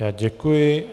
Já děkuji.